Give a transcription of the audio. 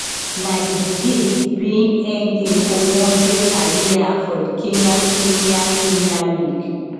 na di disease bin end im ogbonge career for di kenyan premier premier league